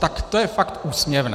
Tak to je fakt úsměvné.